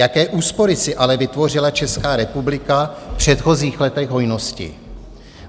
Jaké úspory si ale vytvořila Česká republika v předchozích letech hojnosti.